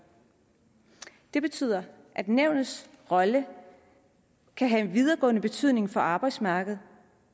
det betyder at nævnets rolle kan have en videregående betydning for arbejdsmarkedet